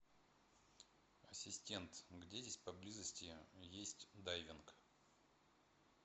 ассистент где здесь поблизости есть дайвинг